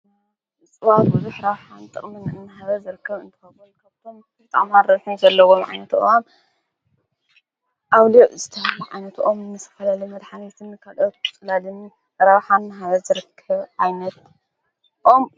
ንፅዋ ጕዙኅ ረብሓን ጥቕምንዕን ሃበ ዘርከብ እንተኸቦል ካብቶም ብርጥማን ርኁን ዘለዎም ዓይነቱ እዋ ኣውድዕ ዝዳ ኣይነቱ ኦም ምስ ፈለሊ መድኃኒትን ካልወትኩጽላድን ራባሓን ሃበ ዘርክብ ኣይነት ኦም እዩ።